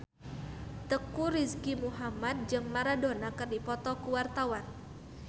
Teuku Rizky Muhammad jeung Maradona keur dipoto ku wartawan